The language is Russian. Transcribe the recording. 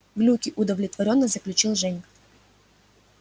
глюки удовлетворённо заключил женька